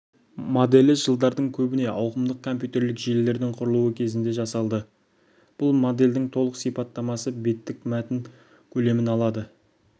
моделі жылдары көбіне ауқымдық компьютерлік желілердің құрылуы кезінде жасалды бұл модельдің толық сипаттамасы беттік мәтін көлемін алады